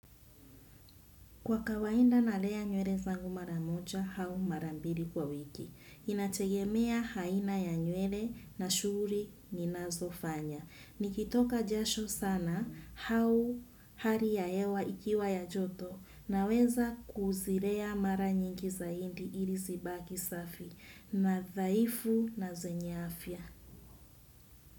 Kwa kawainda nalea nyele zangu maramoja au marambili kwa wiki. Inategemea haina ya nywele na shuri ninazo fanya. Nikitoka jasho sana hau hari ya hewa ikiwa ya joto naweza kuzirea mara nyingi zaindi ili zibaki safi na dhaifu na zenye afya.